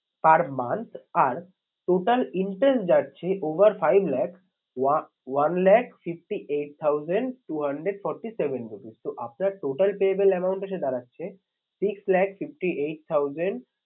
Per month আর total interest যাচ্ছে over five lakhs one lakh fifty eight thousand two hundred forty seven rupees তো আপনার total payable amount এসে দাঁড়াচ্ছে six lakh fifty eight thousand